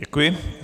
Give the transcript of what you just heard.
Děkuji.